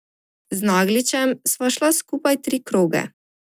Z Nagličem sva šla skupaj tri kroge.